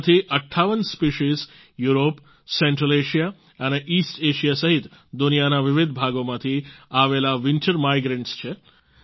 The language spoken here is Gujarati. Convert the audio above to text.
તેમાંથી 58 સ્પેસીઝ યુરોપ સેન્ટ્રલ એએસઆઇએ અને ઇસ્ટ એએસઆઇએ સહિત દુનિયાના વિવિધ ભાગોમાંથી આવેલા વિન્ટર માઇગ્રન્ટ્સ છે